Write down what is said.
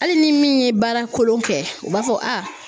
Hali ni min ye baara kolon kɛ u b'a fɔ a